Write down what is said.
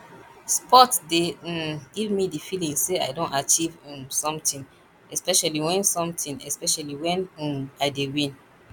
sport dey um give me the feeling sey i don achieve um something especially wen something especially wen um i dey win